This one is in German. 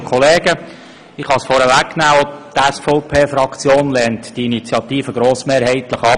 Auch die SVP-Fraktion lehnt die Initiative grossmehrheitlich ab.